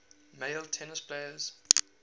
male tennis players